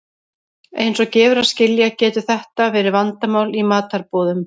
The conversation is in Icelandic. Eins og gefur að skilja getur þetta verið vandamál í matarboðum.